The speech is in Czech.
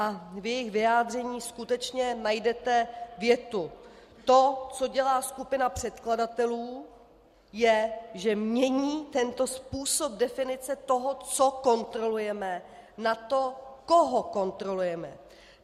A v jejich vyjádření skutečně najdete větu: To, co dělá skupina předkladatelů, je, že mění tento způsob definice toho, co kontrolujeme, na to, koho kontrolujeme.